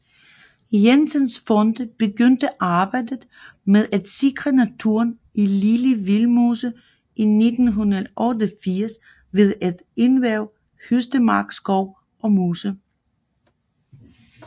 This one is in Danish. Jensens Fonde begyndte arbejdet med at sikre naturen i Lille Vildmose i 1988 ved at erhverve Høstemark Skov og Mose